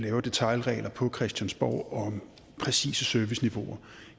lave detailregler på christiansborg om præcise serviceniveauer